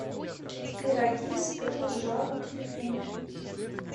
пироги с пылу с жару телефон